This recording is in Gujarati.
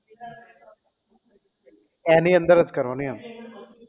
એની અંદર જ કરવાનું એમ